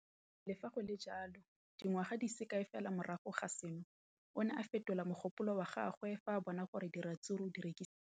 Le fa go le jalo, dingwaga di se kae fela morago ga seno, o ne a fetola mogopolo wa gagwe fa a bona gore diratsuru di rekisiwa thata.